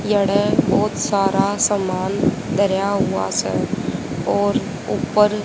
बहोत सारा सामान धरिया हुआ से और ऊपर--